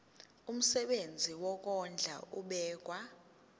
umsebenzi wokondla ubekwa